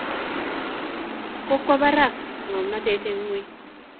Kokwo barak ngomnotet en ngwany.